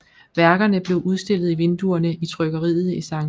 Værkerne blev udstillet i vinduerne i trykkeriet i St